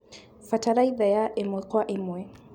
Bataraitha ya ĩmwe Kwa ĩmwe